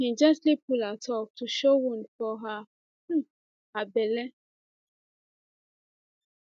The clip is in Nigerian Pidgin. im gently pull up her top to show wound for um her belle